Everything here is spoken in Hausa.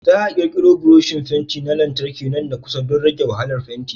Za a ƙirƙiro buroshi fenti na lantarki nan da kusa don rage wahalar fenti.